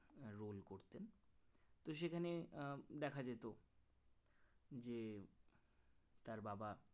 তো সেখানে দেখা যেত যে তার বাবা